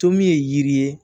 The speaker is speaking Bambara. To min ye yiri ye